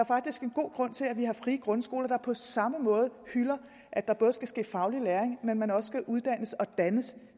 faktisk en god grund til at vi har frie grundskoler der på samme måde hylder at der både skal ske faglig læring men at man også skal uddannes og dannes